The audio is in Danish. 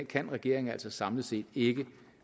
kan regeringen altså samlet set ikke